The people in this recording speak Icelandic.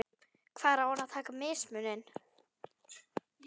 Hvar á hann að taka mismuninn?